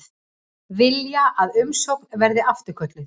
Vilja að umsókn verði afturkölluð